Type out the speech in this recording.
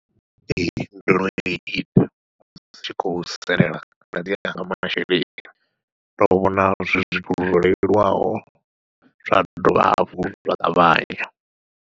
Ee ndo no ita, ndi tshi khou salela badi kha masheleni ndo vhona zwi zwithu zwo leluwaho zwa dovha hafhu zwa ṱavhanya.